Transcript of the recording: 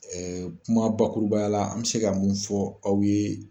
kuma bakurubaya la an bɛ se ka mun fɔ aw ye